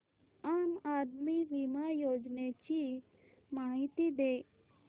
आम आदमी बिमा योजने ची माहिती दे